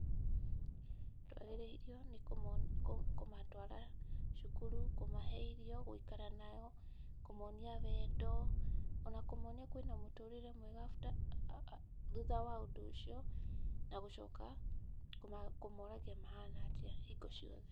Twagĩrĩirwo nĩ kũmatwara cukuru, kũmahe irio, gũikara nao, kũmonia wendo o na kũmonia kwĩna mũtũrĩre mwegathutha wa ũndũ ũcio na gũcoka kũmoragia mahana atĩa hingo ciothe.